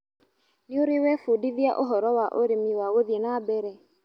Nĩũrĩ webundithia ũhoro wa ũrĩmi wa gũthiĩ na mbere.